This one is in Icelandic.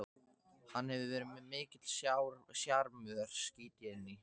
Hann hefur verið mikill sjarmör, skýt ég inn í.